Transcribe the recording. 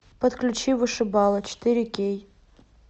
подключи вышибалы четыре кей